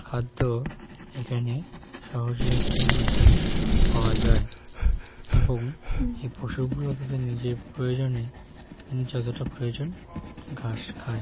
খাদ্য এখানে সহজ লভ্যের মাধ্যমে পাওয়া যায় এবং এই পশু গুলো তাদের নিজের প্রয়োজনে যতটা প্রয়োজন ঘাস খায়।